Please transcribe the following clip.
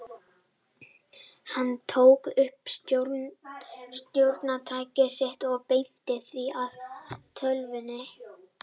Hann tók upp stjórntækið sitt og beindi því að tölvunni.